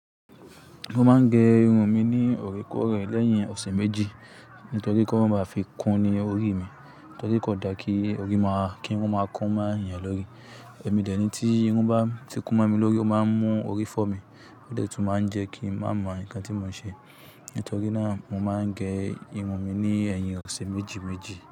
Mo máa ń gẹ irun mi ní orekore lẹ́yìn ọ̀sẹ̀ méjì. Nítorí pé kọ́ máa ba fi kún ni orí mi, torí kò dáa kí ori máa ki irún máa kunma eeyan lórí. Èmi dẹ̀ ní tí irun bá ti kún mi lórí, ó máa ń mú orí fọ́ mi, ó de tun máa ń jẹ́ kí n má mọ nnkan tí mò ń ṣe. Nítorí náà mo máa ń gẹ irun mi ní ẹ̀yìn ọ̀sẹ̀ méjì méjì.